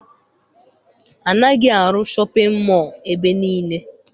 Anaghị arụ shọpịn mọọ ebe niile.